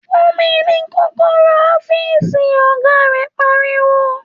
‘Fún mi ní kó̩kó̩ró̩ ó̩fíìsì!’, ò̩gá rè̩ pariwo